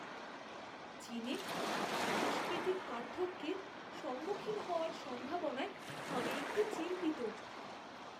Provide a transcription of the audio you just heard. চীনে সাংস্কৃতিক পার্থক্যের সম্মুখীন হওয়ার সম্ভাবনায় আমি একটু চিন্তিত।